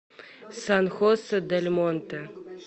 сан хосе дель монте